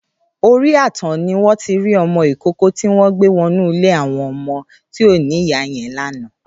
Óri ààtàn niwọn ti ri ọmọ ikóòkò tiwọn gbé wọ inù ilé awọn ọmọ ti ó ni ìyá yèn làná